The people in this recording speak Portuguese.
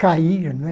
Cair, não é?